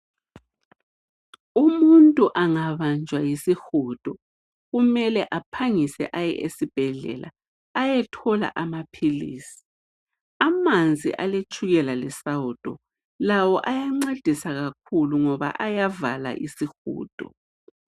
Umuntu angabanjwa yisihudo kumele aphangise aye esibhedlela ayethola amaphilisi. Amanzi aletshukela lesawudo lawo ayancedisa kakhulu ngoba ayavala isihudo.